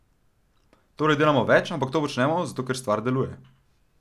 Torej delamo več, ampak to počnemo zato, ker stvar deluje.